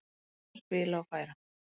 Spila og færa.